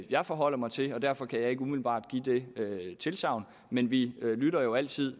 jeg forholder mig til derfor kan jeg ikke umiddelbart give det tilsagn men vi lytter jo altid